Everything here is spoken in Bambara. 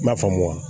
I m'a faamu wa